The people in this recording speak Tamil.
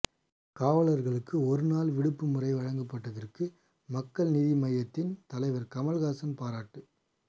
காவலர்களுக்கு ஒரு நாள் விடுப்பு முறை வழங்கப்பட்டதற்கு மக்கள் நீதி மய்யத்தின் தலைவர் கமல்ஹாசன் பாராட்டு